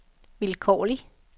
vilkårlig